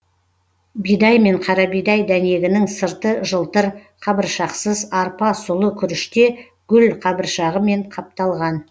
бидай мен қарабидай дәнегінің сырты жылтыр қабыршақсыз арпа сұлы күріште гүлқабыршағымен қапталған